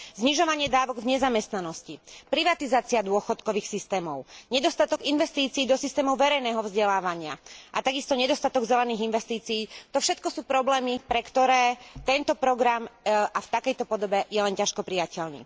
Znižovanie dávok v nezamestnanosti, privatizácia dôchodkových systémov, nedostatok investícií do systémov verejného vzdelávania a takisto nedostatok zelených investícií, to všetko sú problémy, pre ktoré tento program a v takejto podobe je len ťažko prijateľný.